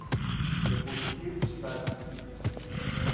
запусти встать